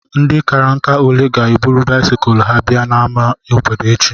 Ndị kárá ǹkà ole ga ébụrụ báịsikụlu ha bịa n'ámá obodo échi?